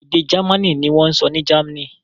Èdè Jámánì ni wọ́n sọ ní Germany.